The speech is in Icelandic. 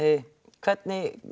hvernig